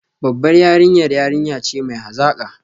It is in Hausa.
Babbar yarinya yarinya ce mai hazaka